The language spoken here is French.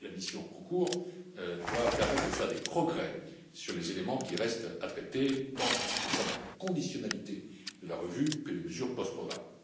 Mais la mission en cours doit permettre de faire des progrès sur les éléments qui restent à traiter, tant en ce qui concerne la conditionnalité de la revue que les mesures post programme.